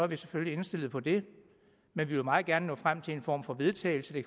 vi selvfølgelig indstillet på det men vi vil meget gerne nå frem til en form for vedtagelse det